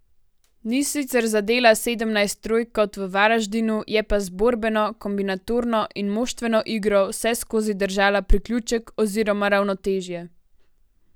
Ni sicer zadela sedemnajst trojk kot v Varaždinu, je pa z borbeno, kombinatorno in moštveno igro vseskozi držala priključek oziroma ravnotežje.